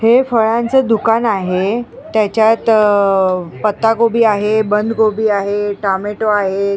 हे फळांचे दुकान आहे त्याच्यात पत्ताकोबी आहे बंद कोबी आहे टोमॅटो आहे.